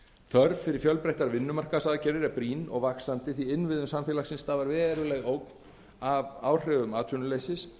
þörf fyrir fjölbreyttar vinnumarkaðsaðgerðir er brýn og vaxandi því innviðum samfélaginu stafar veruleg ógn af áhrifum atvinnuleysisins